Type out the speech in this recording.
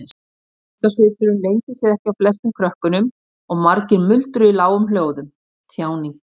Þjáningarsvipurinn leyndi sér ekki á flestum krökkunum og margir muldruðu í lágum hljóðum: Þjáning.